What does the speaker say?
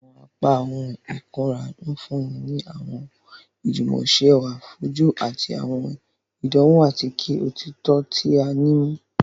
Awọn apá ohùn ikunra nfunni ni awọn ijumọsọrọ ẹwa fojú ati awọn ìdánwò atike òtítọ ti a ti mu.